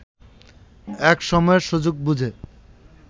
এক সময় সুযোগ বুঝে